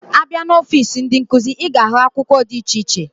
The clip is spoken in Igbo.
Abia na ọfịs ndi nkuzi, iga ahu akwukwo di iche iche.